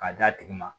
K'a d'a tigi ma